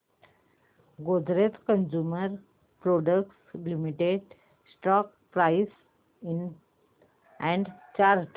Godrej consumer products limited stock price and chart